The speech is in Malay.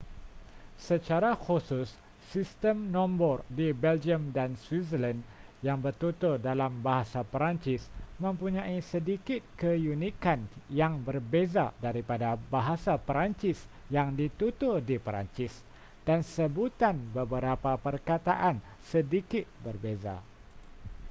secara khusus sistem nombor di belgium dan switzerland yang bertutur dalam bahasa perancis mempunyai sedikit keunikan yang berbeza daripada bahasa perancis yang ditutur di perancis dan sebutan beberapa perkataan sedikit berbeza